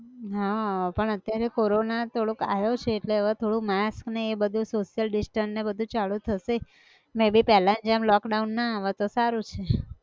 હા, પણ અત્યારે corona થોડોક આયો છે એટલે હવે થોડુંક mask ને એ બધું social distance ને એ બધું ચાલુ થશે, મેં બી પેલ્લા ની જેમ lock down ના આવે તો સારું છે.